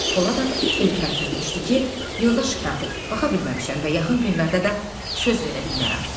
Poladov etiraf etmişdi ki, yoldaş Katib, baxa bilməmişəm və yaxın günlərdə də söz verə bilmərəm.